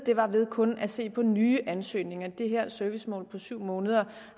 var ved kun at se på nye ansøgninger det her servicemål på syv måneder